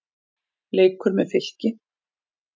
Leikur með Fylki.